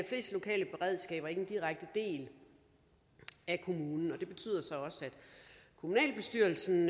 fleste lokale beredskaber ikke en direkte del af kommunen det betyder så også at kommunalbestyrelsen